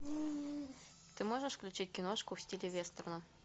ты можешь включить киношку в стиле вестерна